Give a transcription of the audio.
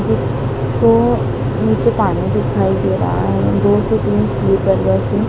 इसको नीचे पानी दिखाई दे रहा है दो से तीन स्लीपर बस है।